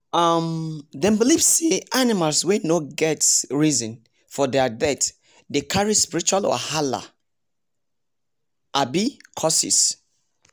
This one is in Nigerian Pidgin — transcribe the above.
um dem believe say animals wey no get reason for their death decarry spiritual wahalaabi curses